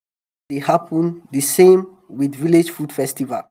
the time for harvest dey happen di same with village food festival.